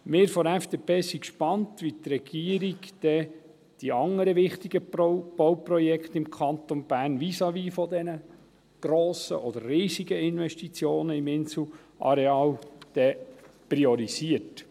Wir von der FDP sind gespannt, wie die Regierung dann die anderen wichtigen Bauprojekte im Kanton Bern priorisiert, vis-à-vis der grossen oder riesigen Investitionen im Inselareal.